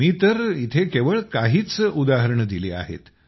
मी तर इथं केवळ काहीच उदाहरणं दिली आहेत